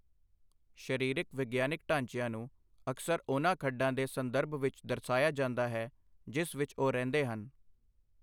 ਸ਼ਰਿਰਿਕ ਵਿਗਿਆਨਕ ਢਾਂਚਿਆਂ ਨੂੰ ਅਕਸਰ ਉਨ੍ਹਾਂ ਖੱਡਾ ਦੇ ਸੰਦਰਭ ਵਿੱਚ ਦਰਸਾਇਆ ਜਾਂਦਾ ਹੈ ਜਿਸ ਵਿੱਚ ਉਹ ਰਹਿੰਦੇ ਹਨ।